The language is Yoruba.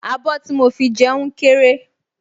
Abọ́ tí mo fi jẹun kéré